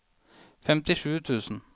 femtisju tusen